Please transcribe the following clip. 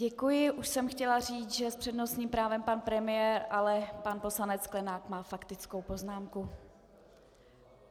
Děkuji, už jsem chtěla říct, že s přednostním právem pan premiér, ale pan poslanec Sklenák má faktickou poznámku.